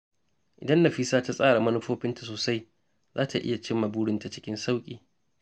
Idan Nafisa ta tsara manufofinta sosai, za ta iya cimma burinta cikin sauƙi.